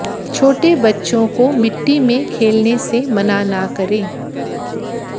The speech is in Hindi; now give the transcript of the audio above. छोटे बच्चों को मिट्टी में खेलने से मना न करें